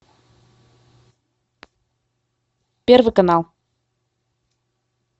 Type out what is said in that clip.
первый канал